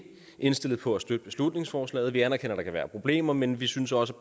indstillet på at støtte beslutningsforslaget vi anerkender at der kan være problemer men vi synes også